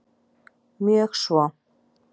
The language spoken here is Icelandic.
Mjög svo